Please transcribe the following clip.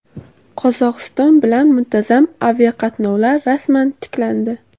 Qozog‘iston bilan muntazam aviaqatnovlar rasman tiklandi.